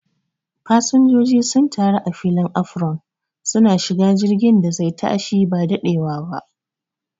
Fasanjoji sun taru a filin afaron, suna shiga jirgin da zai tashi ba daɗewana